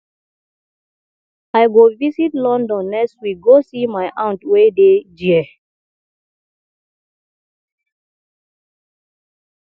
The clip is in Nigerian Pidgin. i go visit london next week go see my aunt wey dey ghere